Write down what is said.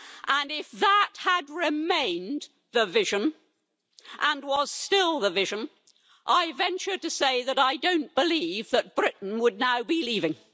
And if that had remained the vision, and was still the vision, I venture to say that I don't believe that Britain would now be leaving.